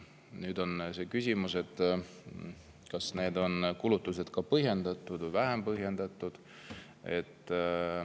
Nüüd on küsimus, kas need kulutused on põhjendatud või vähem põhjendatud.